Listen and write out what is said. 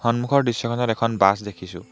সন্মুখৰ দৃশ্যখনত এখন বাছ দেখিছোঁ।